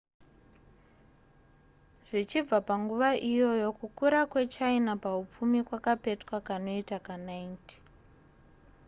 zvichibva panguva iyoyo kukura kwechina pahupfumi kwakapetwa kanoita ka90